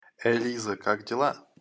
элиза как дела